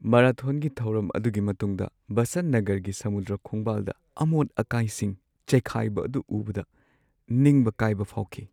ꯃꯥꯔꯥꯊꯣꯟꯒꯤ ꯊꯧꯔꯝ ꯑꯗꯨꯒꯤ ꯃꯇꯨꯡꯗ ꯕꯁꯟꯠ ꯅꯒꯔꯒꯤ ꯁꯃꯨꯗ꯭ꯔ ꯈꯣꯡꯕꯥꯜꯗ ꯑꯃꯣꯠ-ꯑꯀꯥꯏꯁꯤꯡ ꯆꯥꯏꯈꯥꯏꯕ ꯑꯗꯨ ꯎꯕꯗ ꯅꯤꯡꯕ ꯀꯥꯏꯕ ꯐꯥꯎꯈꯤ꯫